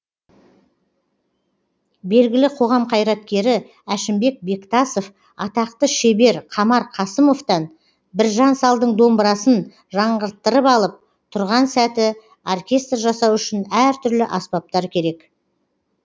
белгілі қоғам қайраткері әшімбек бектасов атақты шебер қамар қасымовтан біржан салдың домбырасын жаңғырттырып алып тұрған сәті оркестр жасау үшін әртүрлі аспаптар керек